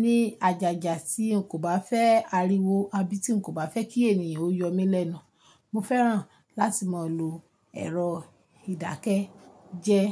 ní àjàjà tí n kò bá fẹ́ ariwo àbí tí n kò bá fẹ́ kí ènìyàn ó yọ mí lẹ́nu. Mo fẹ́ràn láti máa lo èrò ìdákẹ́jẹ́ẹ́.